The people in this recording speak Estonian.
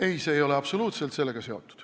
Ei, see ei ole absoluutselt sellega seotud.